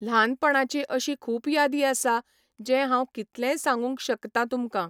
ल्हानपणाची अशी खूब यादी आसा जे हांव कितलेय सागूंक शकतां तुमकां.